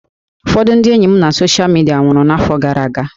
Ụfọdụ ndị enyi m na soshal midia nwụrụ n'afọ gara aga